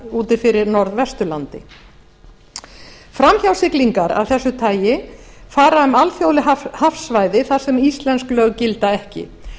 úti fyrir norðvesturlandi framhjásiglingar af þessu tagi fara um alþjóðleg hafsvæði þar sem íslensk lög gilda ekki til